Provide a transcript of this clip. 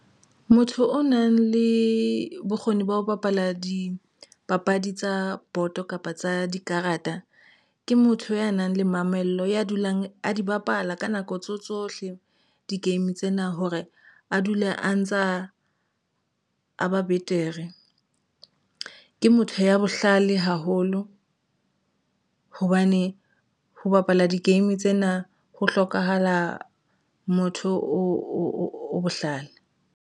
Motho o nang le bokgoni ba ho bapala dipapadi tsa boto kapa tsa dikarata ke motho ya nang le mamello ya dulang a di bapala. Ka nako tseo tsohle e di-game tsena hore a dule a ntsa a ba betere. Ke motho ya bohlale haholo hobane ho bapala di-game tsena ho hlokahala motho o bohlale.